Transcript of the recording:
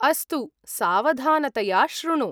अस्तु, सावधानतया शृणु।